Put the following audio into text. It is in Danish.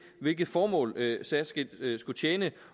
hvilket formål særskilt skulle tjene